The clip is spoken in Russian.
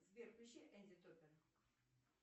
сбер включи энди топпер